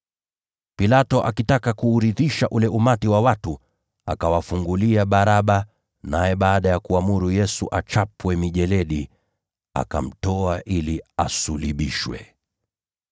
Pilato, akitaka kuuridhisha ule umati wa watu, akawafungulia Baraba. Naye baada ya kuamuru Yesu achapwe mijeledi, akamtoa ili asulubishwe.